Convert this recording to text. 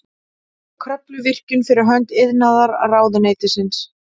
Kröfluvirkjun fyrir hönd iðnaðarráðuneytisins.